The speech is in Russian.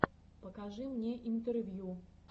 покажи мне интервью